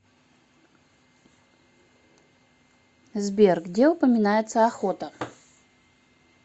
сбер где упоминается охота